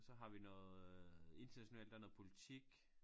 Så har vi noget internationalt der er noget politik